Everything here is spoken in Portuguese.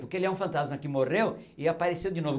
Porque ele é um fantasma que morreu e apareceu de novo.